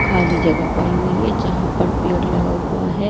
खाली जगह पड़ी हुई है जहां पर पेड़ लगा हुआ है।